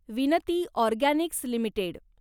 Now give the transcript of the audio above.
विनती organics limited